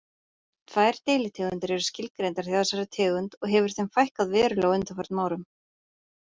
Tvær deilitegundir eru skilgreindar hjá þessari tegund og hefur þeim fækkað verulega á undanförnum árum.